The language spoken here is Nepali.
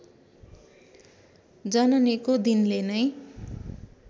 जननेको दिनले नै